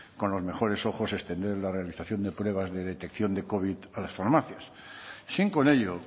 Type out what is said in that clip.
con los mejores ojos extender la realización de pruebas de detección de covid a las farmacias sin con ello